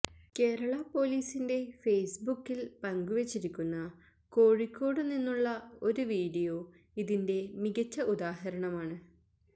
കേരള പൊലീസിന്റ ഫേസ്ബുക്കില് പങ്കുവെച്ചിരിക്കുന്ന കോഴിക്കോട് നിന്നുള്ള ഒരു വീഡിയോ ഇതിന്റെ മികച്ച ഉദാഹരമാണ്